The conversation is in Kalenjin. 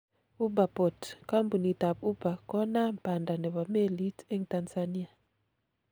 Uber Boat:Kampunit ab Uber konamn panda nebo melit eng Tanzania.